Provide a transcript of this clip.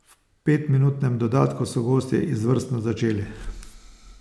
V petminutnem dodatku so gostje izvrstno začeli.